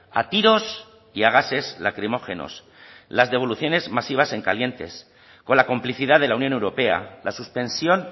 a tiros y a gases lacrimógenos las devoluciones masivas en calientes con la complicidad de la unión europea la suspensión